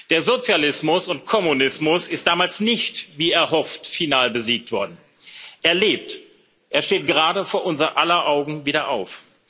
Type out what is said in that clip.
Der Sozialismus und Kommunismus ist damals nicht wie erhofft final besiegt worden. Er lebt, er steht gerade vor unser aller Augen wieder auf.